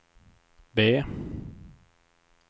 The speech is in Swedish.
B